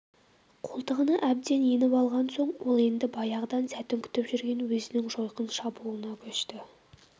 қолтығына әбден еніп алған соң ол енді баяғыдан сәтін күтіп жүрген өзінің жойқын шабуылына көшті